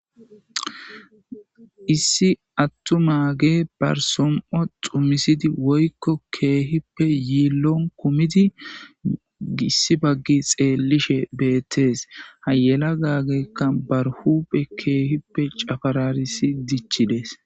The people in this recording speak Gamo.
issi attu mage barsom7o xumisidi woykko keehippe yiillon kumidi gissi baggi xeellishe bettees hayela gaageekka barhupe keehippe cafararisi dichides